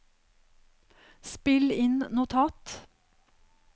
spill inn notat